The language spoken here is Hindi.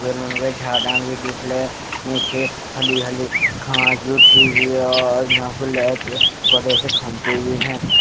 बड़े से खम्बे भी है।